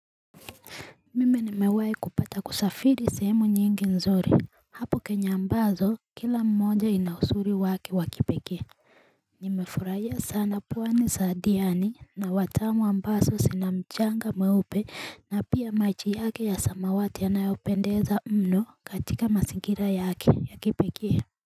Mimi nimewai kupata kusafiri sehemu nyingi nzuri Hapo kenya ambazo kila mmoja ina uzuri wake wa kipekee Nimefurahia sana pwani hasa diani na watamu ambazo sina mchanga mweupe na pia machi yake ya samawati yanayopendeza mno katika masingira yake ya kipekee.